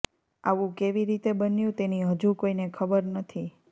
આવું કઇ રીતે બન્યું તેની હજુ કોઇને ખબર નથી